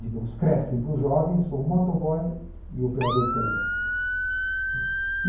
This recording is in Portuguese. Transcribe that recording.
Digamos, crescem para o jovem, são motoboy e operador de telemarketing.